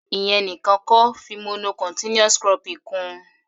Ìyẹn nìkan kọ́, fi mono continuous cropping kún-un.